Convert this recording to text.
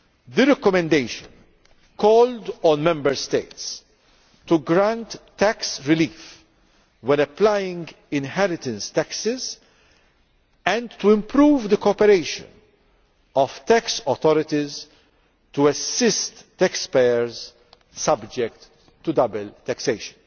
The recommendation calls on Member States to grant tax relief when applying inheritance taxes and to improve the cooperation of tax authorities to assist taxpayers subject to double taxation.